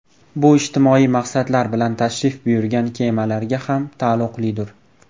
Bu ijtimoiy maqsadlar bilan tashrif buyurgan kemalarga ham taalluqlidir.